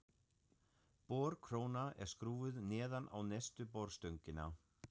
Borkróna er skrúfuð neðan á neðstu borstöngina.